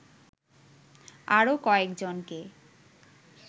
আরো কয়েকজনকে